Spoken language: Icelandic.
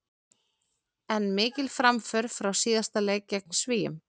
En mikil framför frá síðasta leik gegn Svíum.